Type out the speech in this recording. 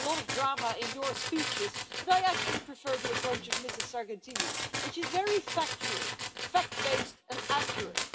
You put a lot of drama in your speeches, Mr Orbán, but I actually prefer the approach of Ms Sargentini, which is very factual, fact based and accurate.